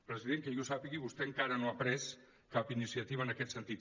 president que jo sàpiga vostè encara no ha pres cap iniciativa en aquest sentit